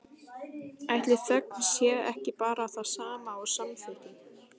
Ætli þögn sé ekki bara það sama og samþykki?